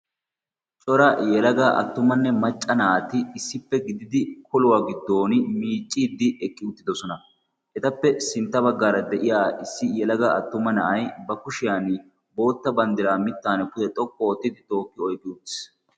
cora yelaga attumanne macca naati issippe gididi koluwaa giddon miicciiddi eqqi uttidosona etappe sintta baggaara de'iya issi yelaga attuma na'ay ba kushiyan bootta banddiraa mittan kute xokku oottidi tookki oiqki uttiis